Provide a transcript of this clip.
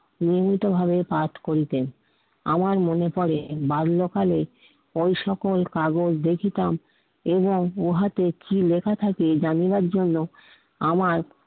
নিয়মিতভাবে পাঠ করিতেন, আমার মনে পড়ে বাল্যকালে ঐ সকল কাগজ দেখিতাম এবং উহাতে কি লেখা থাকে জানিবার জন্য আমার